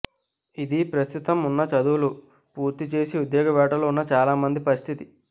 ఇదీ ప్రస్తుతం ఉన్నత చదువులు పూర్తి చేసి ఉద్యోగ వేటలో ఉన్న చాలామంది పరిస్థితి